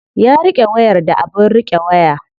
Ya riƙe wayar da abin riƙe waya.